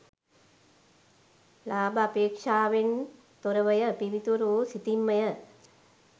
ලාභාපේක්‍ෂාවෙන් තොරවය පිවිතුරු වූ සිතින්ම ය.